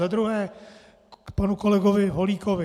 Za druhé k panu kolegovi Holíkovi.